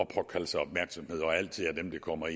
jeg kommer